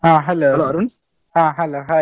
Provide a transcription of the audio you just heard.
ಹಾ hello ಹಾ hello hai .